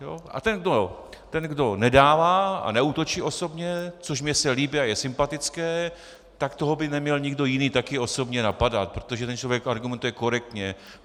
A ten, kdo nedává a neútočí osobně, což mně se líbí a je sympatické, tak toho by neměl nikdo jiný také osobně napadat, protože ten člověk argumentuje korektně.